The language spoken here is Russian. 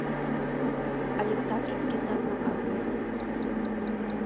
александровский сад показывай